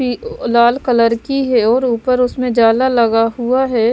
लाल colour की है और ऊपर उसमें जाला लगा हुआ है।